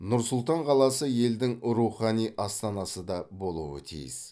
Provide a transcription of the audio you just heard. нұр сұлтан қаласы елдің рухани астанасы да болуы тиіс